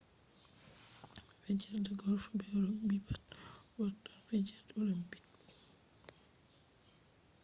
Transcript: fijerde golf be rogbi pat wartan fijerde olimpiks